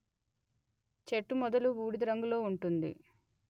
చెట్టు మొదలు బూడిద రంగులో ఉంటుంది